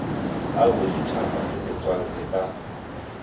a boditšhaba le setswalle ka